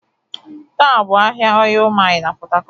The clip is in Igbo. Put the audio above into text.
Taa bụ ahịa Ọịyị Mịl na Port harcourt.